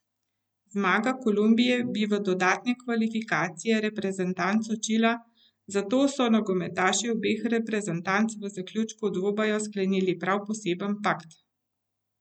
Zmaga Kolumbije bi v dodatne kvalifikacije reprezentanco Čila, zato so nogometaši obeh reprezentanc v zaključku dvoboja sklenili prav poseben pakt.